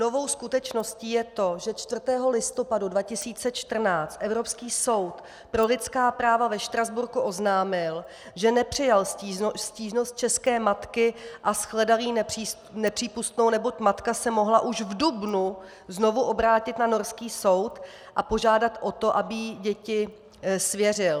Novou skutečností je to, že 4. listopadu 2014 Evropský soud pro lidská práva ve Štrasburku oznámil, že nepřijal stížnost české matky a shledal ji nepřípustnou, neboť matka se mohla už v dubnu znovu obrátit na norský soud a požádat o to, aby jí děti svěřil.